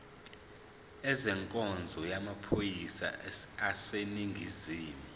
ezenkonzo yamaphoyisa aseningizimu